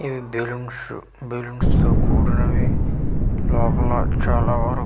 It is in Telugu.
ఇవి బెలూన్సు బల్లూన్స్ తో కూడినవి లోపల చాలా వరకు--